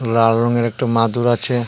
লাল রঙের একটা মাদুর আছে.